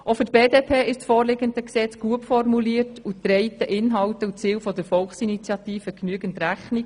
Auch für die BDP ist das vorliegende Gesetz gut formuliert und trägt den Inhalten und Zielen der Volksinitiative genügend Rechnung.